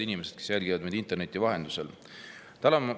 Head inimesed, kes jälgivad meid interneti vahendusel!